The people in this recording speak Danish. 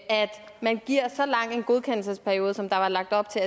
man giver så lang en godkendelsesperiode som der var lagt op til